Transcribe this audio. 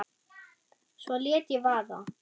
Svo lét ég vaða.